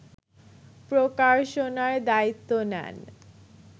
প্রকাশনার দায়িত্ব নেন